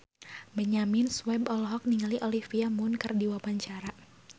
Benyamin Sueb olohok ningali Olivia Munn keur diwawancara